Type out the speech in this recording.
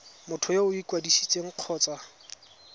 motho yo o ikwadisitseng kgotsa